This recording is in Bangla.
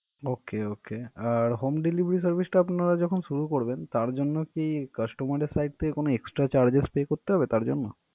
okay, okay আর home delivery service টা আপনারা যখন শুরু করবেন, তার জন্য কি customer এর side থেকে কোনো extra charges pay করতে হবে তার জন্য?